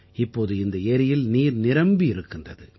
இப்போது இந்த ஏரியில் நீர் நிரம்பி இருக்கின்றது